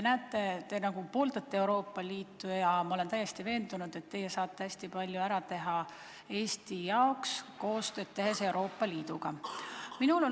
Te nagu pooldate Euroopa Liitu ja ma olen täiesti veendunud, et te saate hästi palju Eesti jaoks ära teha, tehes koostööd Euroopa Liiduga.